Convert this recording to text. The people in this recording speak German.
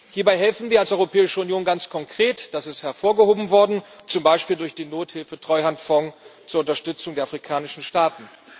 Hierbei helfen wir als Europäische Union ganz konkret das ist hervorgehoben worden zum Beispiel durch den Nothilfe Treuhandfonds zur Unterstützung der afrikanischen Staaten.